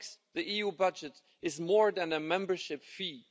The EU budget is more than a membership fee.